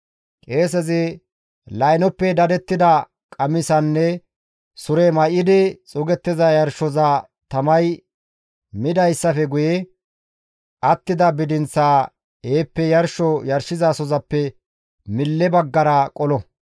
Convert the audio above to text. Qeesezi laynoppe dadettida qamisanne sure may7idi xuugettiza yarshoza tamay midayssafe guye attida bidinththaa heeppe yarsho yarshizasozappe mille baggara qolo.